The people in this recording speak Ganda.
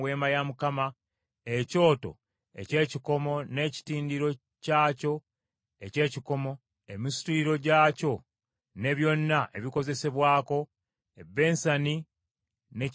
ekyoto eky’ekikomo n’ekitindiro kyakyo eky’ekikomo, emisituliro gyakyo ne byonna ebikozesebwako; ebbensani ne ky’etuulamu;